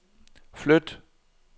flyt